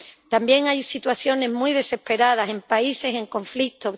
También hay situaciones muy desesperadas en países en conflicto.